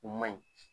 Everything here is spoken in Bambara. O man ɲi